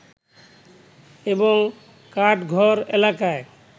এবং কাঠঘর এলাকায়